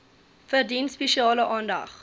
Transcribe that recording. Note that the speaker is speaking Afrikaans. verdien spesiale aandag